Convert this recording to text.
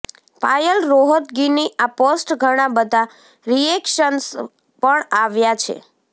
પાયલ રોહતગીની આ પોસ્ટ ઘણાં બધાં રિએક્શન્સ પણ આવ્યા છે